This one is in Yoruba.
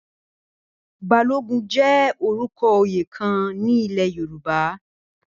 Balógun jẹ orúkọ oyè kan ní ilẹ̀ Yorùbá